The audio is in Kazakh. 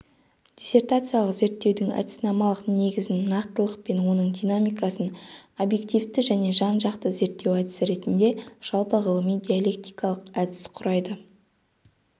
диссертациялық зерттеудің әдіснамалық негізін нақтылық пен оның динамикасын объективті және жанжақты зерттеу әдісі ретінде жалпы ғылыми диалектикалық әдіс құрайды